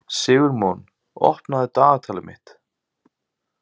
Sigurmon, opnaðu dagatalið mitt.